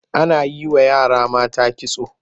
Ana yi wa yara mata kitso.